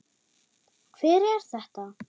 Hver er þetta?